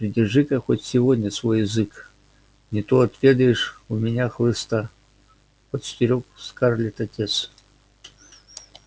придержи-ка хоть сегодня свой язык не то отведаешь у меня хлыста предостерёг скарлетт отец